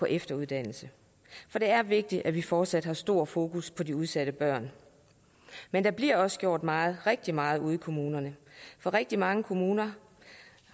efteruddannelse for det er vigtigt at vi fortsat har et stor fokus på de udsatte børn men der bliver også gjort meget rigtig meget ude i kommunerne for rigtig mange kommuner